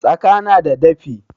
Tsaka na da dafi.